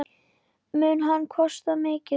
Mun hann kosta mikið?